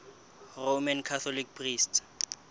roman catholic priests